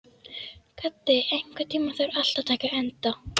Gaddi, einhvern tímann þarf allt að taka enda.